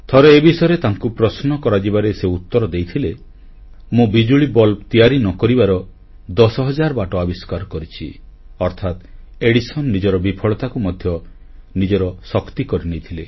ଥରେ ଏ ବିଷୟରେ ତାଙ୍କୁ ପ୍ରଶ୍ନ କରାଯିବାରେ ସେ ଉତ୍ତର ଦେଇଥିଲେ ମୁଁ ବିଜୁଳି ବଲ୍ବ ତିଆରି ନ କରିବାର 10 ହଜାର ବାଟ ଆବିଷ୍କାର କରିଛି ଅର୍ଥାତ୍ ଏଡିସନ୍ ନିଜ ବିଫଳତାକୁ ମଧ୍ୟ ନିଜର ଶକ୍ତି କରିନେଇଥିଲେ